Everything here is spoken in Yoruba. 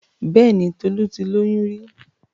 Bẹ́ẹ̀ni Tolu ti lóyún rí?